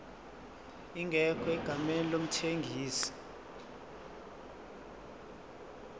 ingekho egameni lomthengisi